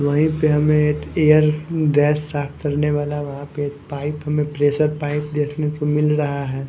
वहीं पे हमें एक एयर डैश साफ करने वाला वहाँ पे पाइप हमें प्रेशर पाइप देखने को मिल रहा है।